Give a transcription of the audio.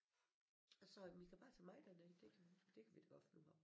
Jeg sagde men I kan bare tage mig derned det kan det kan vi da godt finde ud af